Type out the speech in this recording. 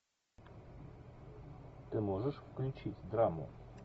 ты можешь включить драму